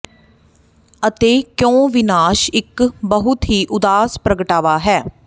ਅਤੇ ਕਿਉਂ ਵਿਨਾਸ਼ ਇੱਕ ਬਹੁਤ ਹੀ ਉਦਾਸ ਪ੍ਰਗਟਾਵਾ ਹੈ